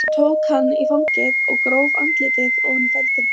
Hún tók hann í fangið og gróf andlitið ofan í feldinn.